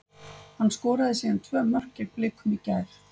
Hann skoraði síðan tvö mörk gegn Blikum í gær.